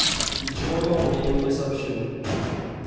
ничего нового я ему не сообщил